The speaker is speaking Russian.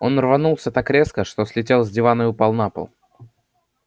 он рванулся так резко что слетел с дивана и упал на пол